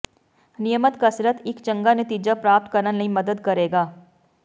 ਨਿਯਮਤ ਕਸਰਤ ਇੱਕ ਚੰਗਾ ਨਤੀਜਾ ਪ੍ਰਾਪਤ ਕਰਨ ਲਈ ਮਦਦ ਕਰੇਗਾ